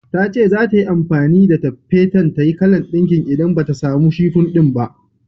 Tace zata yi amfani da taffeta tayi kalan ɗinkin idan bata samu shifum ɗin ba.